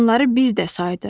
Onları bir də saydı.